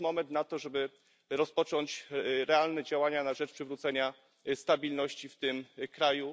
To jest moment na to, żeby rozpocząć realne działania na rzecz przywrócenia stabilności w tym kraju.